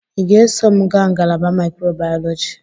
Ị ga-eso m gaa ngalaba microbiology?